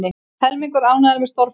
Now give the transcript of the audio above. Helmingur ánægður með störf forsetans